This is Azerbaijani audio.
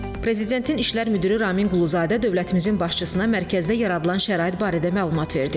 Prezidentin İşlər müdiri Ramin Quluzadə dövlətimizin başçısına mərkəzdə yaradılan şərait barədə məlumat verdi.